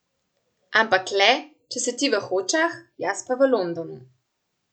Ampak le, če si ti v Hočah, jaz pa v Londonu.